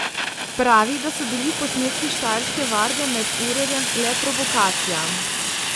Pravi, da so bili posnetki Štajerske varde med urjenjem le provokacija.